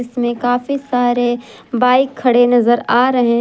इसमें काफी सारे बाइक खड़े नजर आ रहे--